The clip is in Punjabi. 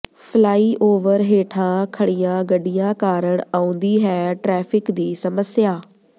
ਫਲਾਈਓਵਰ ਹੇਠਾਂ ਖੜੀਆਂ ਗੱਡੀਆਂ ਕਾਰਨ ਆਉਂਦੀ ਹੈ ਟਰੈਫ਼ਿਕ ਦੀ ਸਮੱਸਿਆ